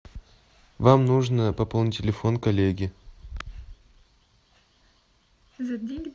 вам нужно пополнить телефон коллеги